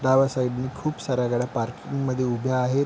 डाव्या साइड नि खुप साऱ्या गाड्या पार्किंग मध्ये उभ्या आहेत.